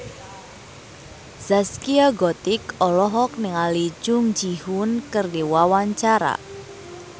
Zaskia Gotik olohok ningali Jung Ji Hoon keur diwawancara